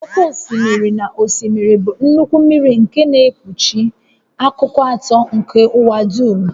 Oké osimiri na osimiri bụ nnukwu mmiri nke na-ekpuchi akụkụ atọ nke ụwa dum